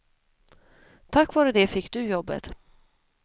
Tack vare det fick du jobbet.